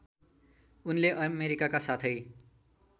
उनले अमेरिकाका साथै